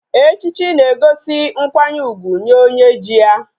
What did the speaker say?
Echichi na egosi nkwanye ugwu Nye onye ji ya